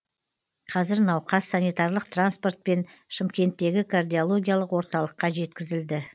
қазір науқас санитарлық транспортпен шымкенттегі кардиологиялық орталыққа жеткізілді